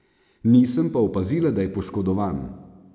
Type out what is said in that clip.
Nisem pa opazila, da je poškodovan.